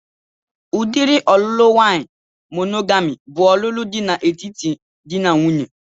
Udiri ọlụlụ nwaanyị monogami bụ ọlụlụ dị n'etiti dị na nwunye